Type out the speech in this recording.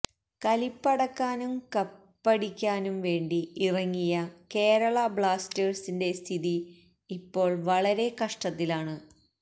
കലിപ്പടക്കാനും കപ്പടിക്കാനും വേണ്ടി ഇറങ്ങിയ കേരള ബ്ലാസ്റ്റേഴ്സിന്റെ സ്ഥിതി ഇപ്പോള് വളരെ കഷ്ടത്തിലാണ്